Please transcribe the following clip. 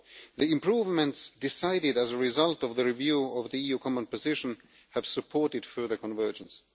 The improvements decided as a result of the review of the EU common position have supported further convergence.